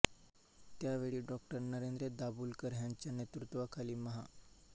त्या वेळी डॉ नरेंद्र दाभोलकर ह्यांच्या नेतृत्वाखाली महा